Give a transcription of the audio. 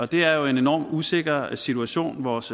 det er jo en enormt usikker situation vores